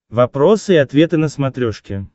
вопросы и ответы на смотрешке